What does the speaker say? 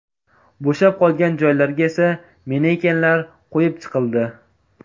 Bo‘shab qolgan joylarga esa manekenlar qo‘yib chiqildi.